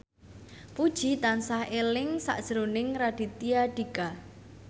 Puji tansah eling sakjroning Raditya Dika